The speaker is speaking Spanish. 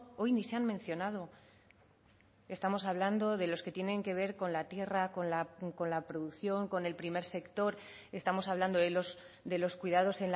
hoy ni se han mencionado estamos hablando de los que tienen que ver con la tierra con la producción con el primer sector estamos hablando de los cuidados